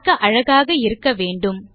பார்க்க அழகாக இருக்க வேண்டும்